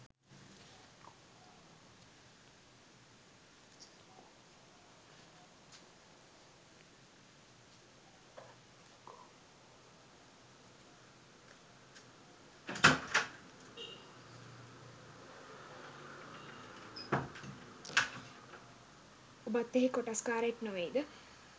ඔබත් එහි කොටස්කාරයෙක් නොවෙයිද?